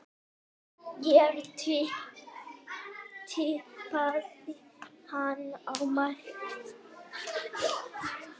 Ég tippaði hana af mætti.